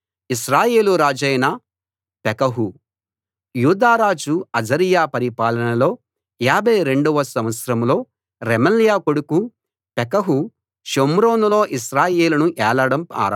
యూదా రాజు అజర్యా పరిపాలనలో 52 వ సంవత్సరంలో రెమల్యా కొడుకు పెకహు షోమ్రోనులో ఇశ్రాయేలును ఏలడం ఆరంభించి 20 సంవత్సరాలు ఏలాడు